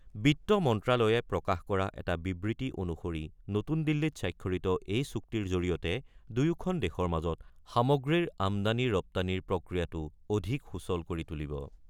বিত্ত মন্ত্ৰ্যালয়ে প্ৰকাশ কৰা এটা বিবৃতি অনুসৰি নতুন দিল্লীত স্বাক্ষৰিত এই চুক্তিৰ জৰিয়তে দুয়োখন দেশৰ মাজত সামগ্ৰীৰ আমদানি-ৰপ্তানিৰ প্ৰক্ৰিয়াটো অধিক সুচল কৰি তুলিব।